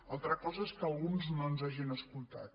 altra cosa és que alguns no ens hagin escoltat